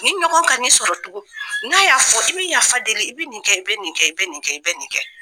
Ni ɲɔgɔn kana i sɔrɔ tugun n'a y'a fɔ i bɛ yafa deli i bɛ nin kɛ i bɛ nin kɛ i bɛ nin kɛ i bɛ nin kɛ